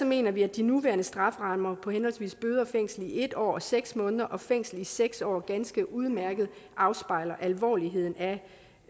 mener vi at de nuværende strafferammer på henholdsvis bøde og fængsel i en år og seks måneder og fængsel i seks år ganske udmærket afspejler alvoren